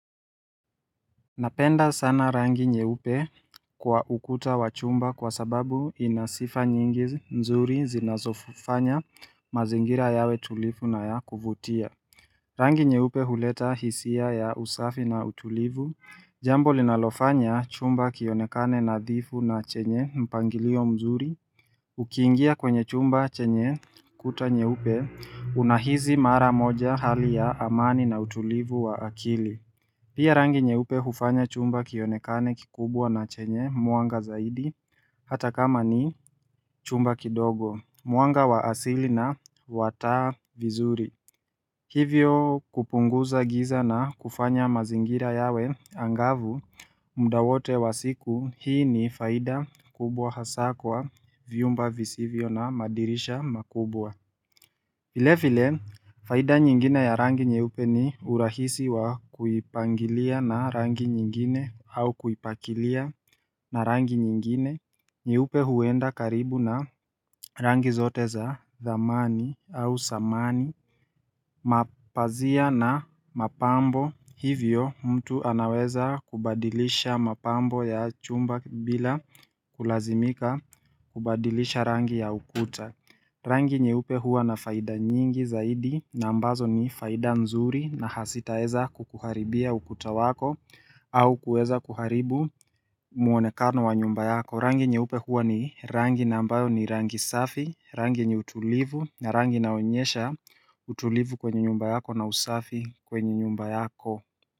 Napenda sana rangi nyeupe kwa ukuta wa chumba kwa sababu ina sifa nyingi mzuri zinazofanya mazingira yawe tulivu na ya kuvutia. Rangi nyeupe huleta hisia ya usafi na utulivu. Jambo linalofanya chumba kionekane nadhifu na chenye mpangilio mzuri. Ukiingia kwenye chumba chenye kuta nyeupe unahisi mara moja hali ya amani na utulivu wa akili. Pia rangi nyeupe hufanya chumba kionekane kikubwa na chenye mwanga zaidi, hata kama ni chumba kidogo, mwanga wa asili na wa taa vizuri. Hivyo kupunguza giza na kufanya mazingira yawe angavu, muda wote wa siku hii ni faida kubwa hasa kwa vyumba visivyo na madirisha makubwa. Vile vile, faida nyingine ya rangi nyeupe ni urahisi wa kuipangilia na rangi nyingine au kuipakilia na rangi nyingine nyeupe huenda karibu na rangi zote za zamani au samani Mapazia na mapambo hivyo mtu anaweza kubadilisha mapambo ya chumba bila kulazimika kubadilisha rangi ya ukuta Rangi nyeupe huwa na faida nyingi zaidi na ambazo ni faida mzuri na hazitaeza kukuharibia ukuta wako au kueza kuharibu muonekano wa nyumba yako Rangi nyeupe huwa ni rangi na ambayo ni rangi safi, rangi yenye utulivu na rangi inaonyesha utulivu kwenye nyumba yako na usafi kwenye nyumba yako.